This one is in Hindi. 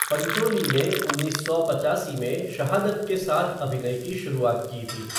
पंचोली ने उन्नीस सौ पचासी में शहादत के साथ अभिनय की शुरुआत की थी।